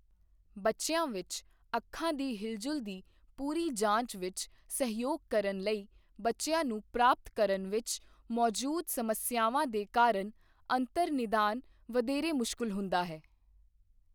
ਬੱਚਿਆਂ ਵਿੱਚ, ਅੱਖਾਂ ਦੀ ਹਿਲਜੁਲ ਦੀ ਪੂਰੀ ਜਾਂਚ ਵਿੱਚ ਸਹਿਯੋਗ ਕਰਨ ਲਈ ਬੱਚਿਆਂ ਨੂੰ ਪ੍ਰਾਪਤ ਕਰਨ ਵਿੱਚ ਮੌੌਜੂਦ ਸਮੱਸਿਆਵਾਂ ਦੇ ਕਾਰਨ ਅੰਤਰ ਨਿਦਾਨ ਵਧੇਰੇ ਮੁਸ਼ਕਲ ਹੁੰਦਾ ਹੈ।